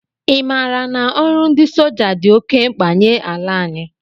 I maara na ọrụ ndị soja dị oké mkpa nye ala anyị?